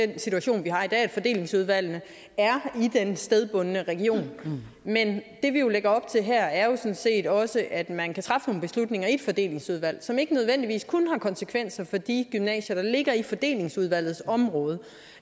den situation vi har i dag nemlig at fordelingsudvalgene er i den stedbundne region men det vi jo lægger op til her er sådan set også at man kan træffe nogle beslutninger i et fordelingsudvalg som ikke nødvendigvis kun har konsekvenser for de gymnasier der ligger i fordelingsudvalgets område